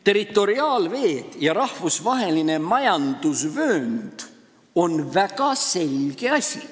Territoriaalveed ja rahvusvaheline majandusvöönd on väga selge asi.